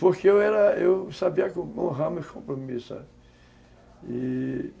Porque eu era, eu sabia honrar meus compromissos, sabe? e...